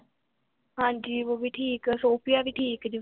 ਹਾਂਜੀ ਉਹ ਵੀ ਠੀਕ, ਸੋਫੀਆ ਵੀ ਠੀਕ ਜੇ